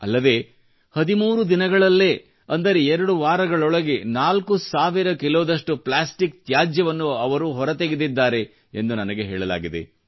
ಅಲ್ಲದೇ 13 ದಿನಗಳಲ್ಲೇ ಅಂದರೆ 2 ವಾರಗಳೊಳಗೆ 4000 ಕಿಲೋದಷ್ಟು ಪ್ಲಾಸ್ಟಿಕ್ ತ್ಯಾಜ್ಯವನ್ನು ಅವರು ಹೊರತೆಗೆದಿದ್ದಾರೆ ಎಂದು ನನಗೆ ಹೇಳಲಾಗಿದೆ